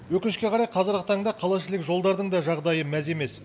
өкінішке қарай қазіргі таңда қалаішілік жолдардың да жағдайы мәз емес